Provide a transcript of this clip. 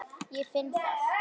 Ég finn það.